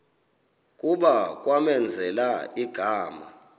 kuba kwamenzela igama